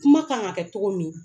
Kuma k'an ka kɛ togo min